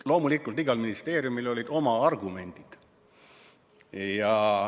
Loomulikult, igal ministeeriumil olid oma argumendid.